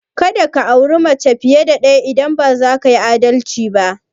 Ka da ka auri mace fiye da ɗaya idan ba za ka yi adalci ba!